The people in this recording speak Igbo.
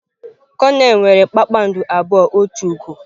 Konel nwere kpakpando abụọ otu ugo.